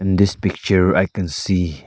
in this picture i can see--